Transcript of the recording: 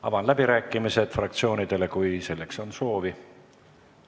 Avan läbirääkimised fraktsioonidele, kui selleks on soovi.